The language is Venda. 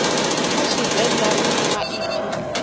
kha tshivenḓa ri na maipfi